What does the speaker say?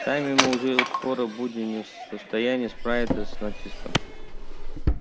сами мы уже скоро будем не в состоянии справиться с натиском